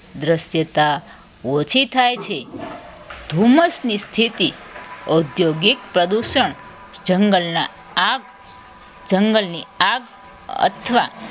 દ્રશ્યતા ઓછી થાય છે ધુમ્મસ ની સ્થિતિ ઉદ્યોગિક પ્રદૂષણ જંગલના આગ જંગલની આગ અથવા